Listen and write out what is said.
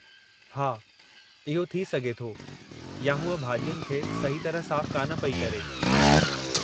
हा, इहो थी सघे थो या हूअ भाॼियुनि खे सही तरह साफ़ु कान पेई करे।